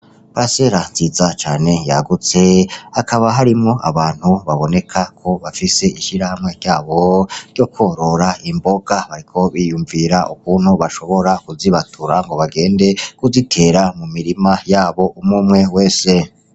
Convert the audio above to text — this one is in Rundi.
Pasela nziza cane yagutse akaba harimwo abantu baboneka ko bafise ishira hamwe ryabo ryo kworora imboga hariko biyumvira ukuntu bashobora kuzibatura ngo bagende kuzitera mu mirima yabo umumwe wese.